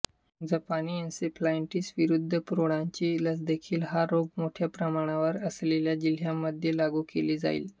जपानी एन्सेफलायटीस विरुद्ध प्रौढांची लसदेखील हा रोग मोठ्या प्रमाणावर असलेल्या जिल्ह्यांमध्ये लागू केली जाईल